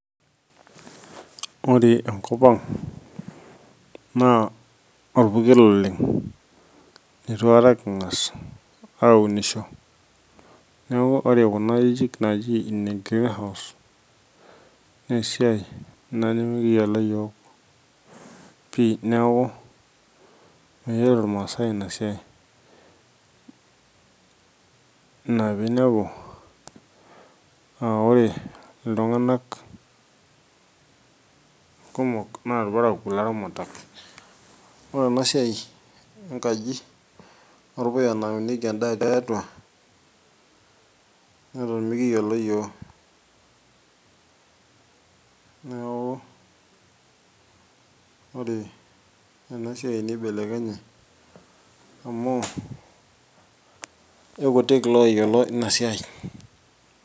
ore enkop ang naa orpukel oleng eitu aikata king'as aunisho, neeku ore kuna ajijik naaji ine green house naa esiai ina nimikiyiolo yiook pi neeku meyiolo irmaasae ina siai ina piinepu aa ore iltung'anak kumok naa ilparakuo le ramatare. ore ena siai enkaji orpuya naunieki endaa tiatua neton mikiyiolo yiok, neeku ore ena siai neibelekenye amu eikutik looyilo ina siai.